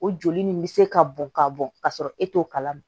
O joli nin bɛ se ka bɔn ka bɔn ka sɔrɔ e t'o kalama